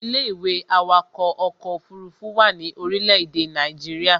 Ilé-ìwé awakọ̀ ọkọ̀ òfurufú wà ní orílé èdè Nàìjíría